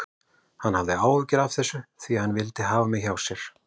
Hann hafði áhyggjur af þessu því hann vildi hafa mig áfram hjá sér.